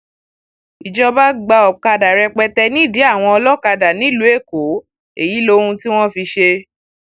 ìjọba gba ọkadà rẹpẹtẹ nídìí àwọn olókàdá nílùú èkó èyí lohun tí wọn fi í ṣe